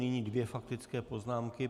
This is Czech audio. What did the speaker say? Nyní dvě faktické poznámky.